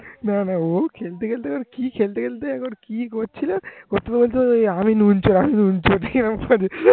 না না ও খেলতে খেলতে ওর খেলতে খেলতে কি করছিল বলতে বলতে আমি নুন চোর বলতে বলতে